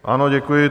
Ano, děkuji.